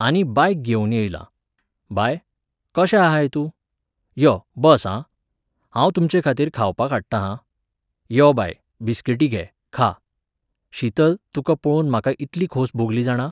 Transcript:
आनी बायक घेवून येयलां. बाय, कशें आहाय तूं? यो बस हां, हांव तुमचेखातीर खावपाक हाडटा हां. यो बाय, बिस्किटी घे, खा. शीतल, तुका पळोवन म्हाका इतली खोस भोगली जाणा